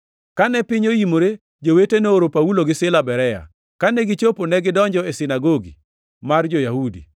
Kane piny oimore, jowete nooro Paulo gi Sila Berea. Kane gichopo, negidonjo e sinagogi mar jo-Yahudi.